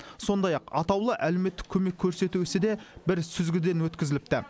сондай ақ атаулы әлеуметтік көмек көрсету ісі де бір сүзгіден өткізіліпті